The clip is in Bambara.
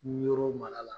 Yɔrɔ mara la